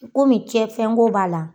Komi cɛn fɛnko b'a la.